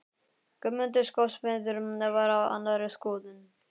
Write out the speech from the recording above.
Guðmundur skósmiður var á annarri skoðun.